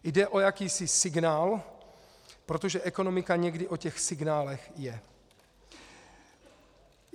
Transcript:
Jde o jakýsi signál, protože ekonomika někdy o těch signálech je.